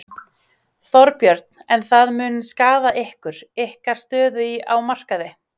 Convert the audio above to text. Þorbjörn: En það mun skaða ykkur, ykkar stöðu á markaði?